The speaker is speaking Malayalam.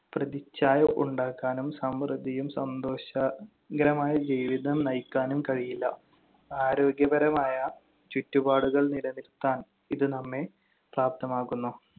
പ്രതിച്ഛായ ഉണ്ടാക്കാനും സമൃദ്ധിയും സന്തോഷകരമായ ജീവിതം നയിക്കാനും കഴിയില്ല. ആരോഗ്യകരമായ ചുറ്റുപാടുകൾ നിലനിർത്താൻ ഇത് നമ്മെ പ്രാപ്‌തമാക്കുന്നു.